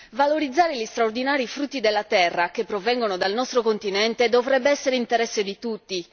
Valorizzare gli straordinari frutti della terra che provengono dal nostro continente dovrebbe essere interesse di tutti.